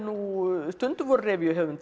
stundum voru